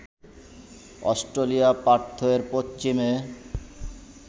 অস্ট্রেলিয়ার পার্থ এর পশ্চিমে